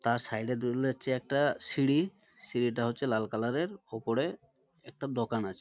তার সাইড -এ একটা সিঁড়ি। সিঁড়ি তা হচ্ছে লাল কালার এর। উপরে একটা দোকান আছে।